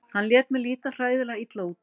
Hann lét mig líta hræðilega illa út.